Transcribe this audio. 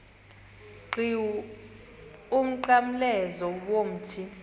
qhiwu umnqamlezo womthi